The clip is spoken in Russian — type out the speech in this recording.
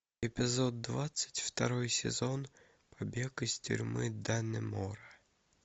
эпизод двадцать второй сезон побег из тюрьмы даннемора